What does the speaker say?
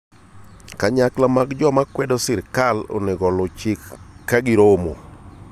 Kanyakla mag joma kwedo sirkal onego oluw chik kagiromo